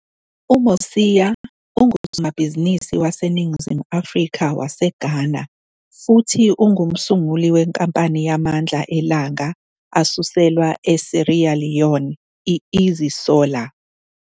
UMosia ungusomabhizinisi waseNingizimu Afrika-waseGhana futhi ongumsunguli wenkampani yamandla elanga asuselwa eSierra Leone i-Easy Solar.